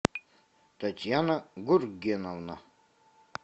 татьяна гургеновна